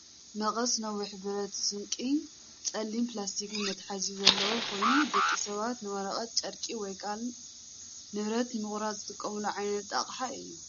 መቀስ ነዊሕ ብረት ስንቂን ፀሊም ፕላስቲክ መትሓዚን ዘለዎ ኮይኑ፣ ደቂ ሰባት ንወረቐት፣ ጨርቂ ወይ ካልእ ንብረት ንምቑራጽ ዝጥቀሙሉ ዓይነት ኣቅሓ እዩ።